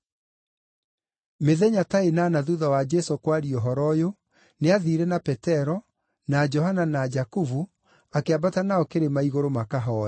Mĩthenya ta ĩnana thuutha wa Jesũ kwaria ũhoro ũyũ nĩathiire na Petero, na Johana na Jakubu akĩambata nao kĩrĩma igũrũ makahooe.